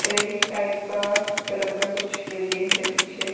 reddish type का colour का कुछ बिल्डिंग्स है पीछे --